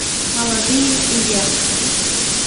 молодые и дерзкие